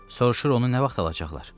Sorur onu nə vaxt alacaqlar?